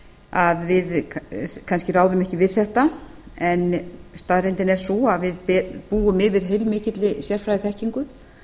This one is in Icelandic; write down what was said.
að við kannski ráðum ekki við þetta en staðreyndin er sú að við búum yfir heilmikilli sérfræðiþekkingu